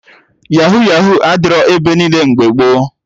Yahuu Yahuu adịrọ ebe niile mgbe gboo